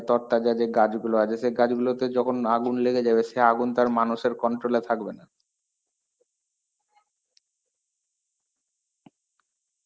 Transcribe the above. তরতাজা যে গাছগুলো আছে, সেই গাছগুলোতে যখন আগুন লেগে যাবে সে আগুন তার মানুষের controll এ থাকবেনা.